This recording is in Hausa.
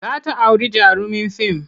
Za ta auri jarumin fim.